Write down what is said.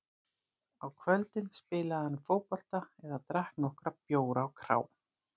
Á kvöldin spilaði hann fótbolta eða drakk nokkra bjóra á krá.